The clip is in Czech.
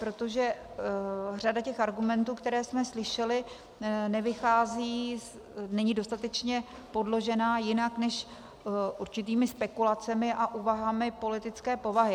Protože řada těch argumentů, které jsme slyšeli, nevychází, není dostatečně podložena jinak než určitými spekulacemi a úvahami politické povahy.